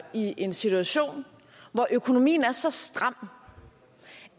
i en situation hvor økonomien er så stram